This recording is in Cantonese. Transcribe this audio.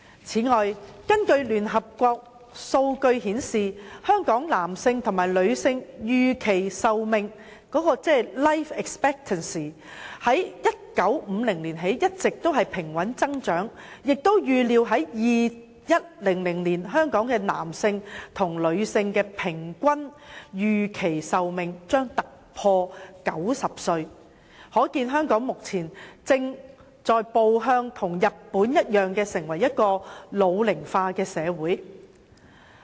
此外，根據聯合國數據顯示，香港男性和女性的預期壽命自1950年起一直平穩增長，並預料將於2100年突破平均90歲的水平，可見香港目前正在步日本的後塵，成為一個老齡化社會。